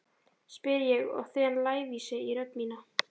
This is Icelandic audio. spyr ég og þen lævísi í rödd mína.